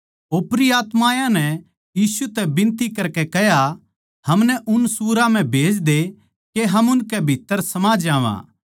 ओपरी आत्मायाँ नै यीशु तै बिनती करकै कह्या हमनै उन सुअरां म्ह भेज दे के हम उनकै भीत्त्तर समा जावां